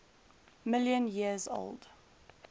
million years old